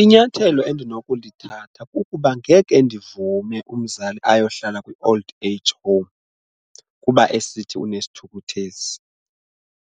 Inyathelo endinokulithatha kukuba ngeke ndivume umzali ayohlala kwi-old age home kuba esithi unesithukuthezi,